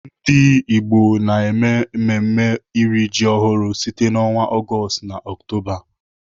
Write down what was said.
Ndigbo na-eme mmemme iri ji ọhụrụ site n'ọnwa Ọgọọst na Ọktoba.